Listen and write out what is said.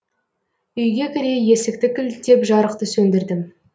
үйге кіре есікті кілттеп жарықты сөндірдім